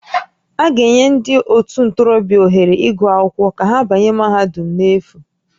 A ga-enye ndị ótù ntorobịa ohere ịgụ akwụkwọ ka ha banye mahadum n'efu